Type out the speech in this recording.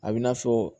A bi n'a fɔ